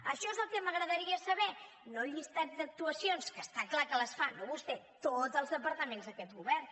això és el que m’agradaria saber no el llistat d’actuacions que està clar que les fan no vostè tots els departaments d’aquest govern